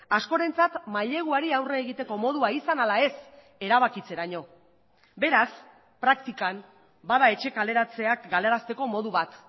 askorentzat maileguari aurre egiteko modua izan ala ez erabakitzeraino beraz praktikan bada etxe kaleratzeak galarazteko modu bat